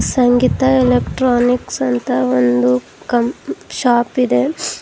ಸಂಗೀತ electronics ಅಂತ ಒಂದು ಕಂಪ್ ಶಾಪ್ ಇದೆ.